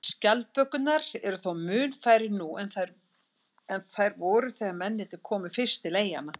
Skjaldbökurnar eru þó mun færri nú en þær voru þegar mennirnir komu fyrst til eyjanna.